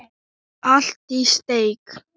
Allt í steik.